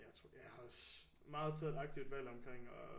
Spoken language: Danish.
Jeg har også meget taget et aktivt valg omkring at